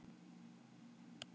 Brotist inn í Hátækni